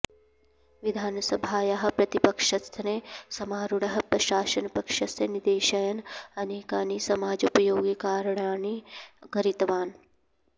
विधानसभायाः प्रतिपक्षस्थने समारूढः प्रशासनपक्षस्य निदेशयन् अनेकानि समाजोपयोगिकार्णाणि कारितवान्